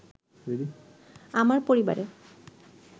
আমার পরিবারে